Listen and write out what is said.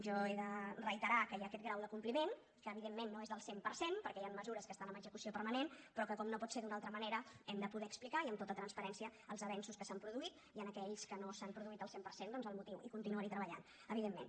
jo he de reiterar que hi ha aquest grau de compliment que evidentment no és del cent per cent perquè hi han mesures que estan en execució permanent però que com no pot ser d’una altra manera hem de poder explicar i amb tota transparència els avenços que s’han produït i en aquells que no s’han produït al cent per cent doncs el motiu i continuarhi treballant evidentment